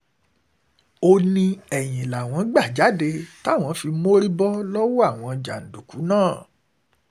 ó ní ẹ̀yìn làwọn gbà jáde táwọn fi mórí bọ́ lọ́wọ́ àwọn jàǹdùkú náà